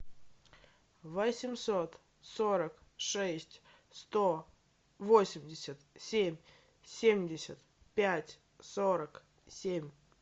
восемьсот сорок шесть сто восемьдесят семь семьдесят пять сорок семь